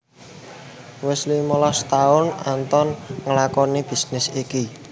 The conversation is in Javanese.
Wis limolas taun Anton nglakoni bisnis iki